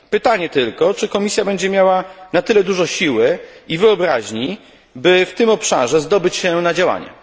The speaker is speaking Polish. Pytanie tylko, czy Komisja będzie miała na tyle dużo siły i wyobraźni, by w tym obszarze zdobyć się na działanie?